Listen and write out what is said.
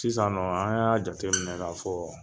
Sisan nɔ an y'a jate minɛ ka fɔ